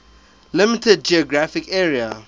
limited geographic area